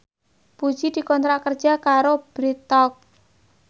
Puji dikontrak kerja karo Bread Talk